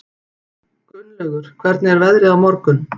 Gunnlaugur, hvernig er veðrið á morgun?